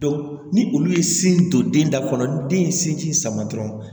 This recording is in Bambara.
ni olu ye sin don den da kɔnɔ ni den ye sin ji sama dɔrɔn